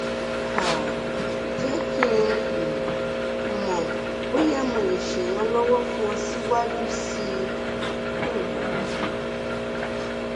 um jẹ́ kí um n mọ̀ bóyá mo lè ṣèrànlọ́wọ́ fún ọ síwájú síi um